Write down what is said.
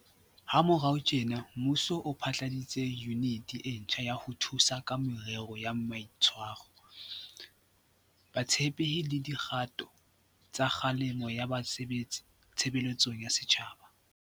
Ha morao tjena, mmuso o phatlaladitse Yuniti e ntjha ya ho Thusa ka Merero ya Mai tshwaro, Botshepehi le Di kgato tsa Kgalemelo ya Ba sebetsi Tshebeletsong ya Setjhaba.